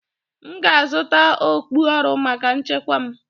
M ga-azụta okpu ọrụ maka nchekwa m